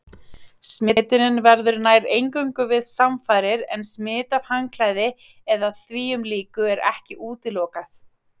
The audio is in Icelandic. Smitunin verður nær eingöngu við samfarir en smit af handklæði eða þvíumlíku er ekki útilokað.